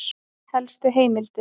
Helstu heimildir